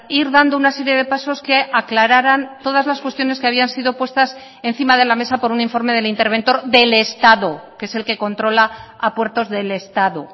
ir dando una serie de pasos que aclararan todas las cuestiones que habían sido puestas encima de la mesa por un informe del interventor del estado que es el que controla a puertos del estado